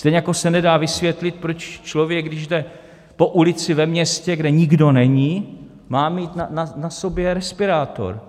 Stejně jako se nedá vysvětlit, proč člověk, když jde po ulici ve městě, kde nikdo není, má mít na sobě respirátor.